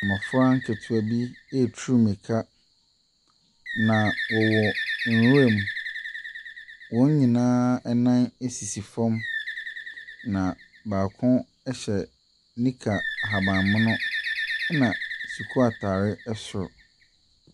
Mmɔfra nketewa bi ɛretu mirika na wɔwɔ nwura mu. Wɔn nyinaa nan sisi fam, na baako hyɛ nika ahabanmono na sukuu ataare soro.